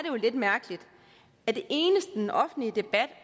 jo lidt mærkeligt at det eneste den offentlige debat